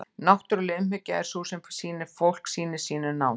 náttúruleg umhyggja er sú sem fólk sýnir sínum nánustu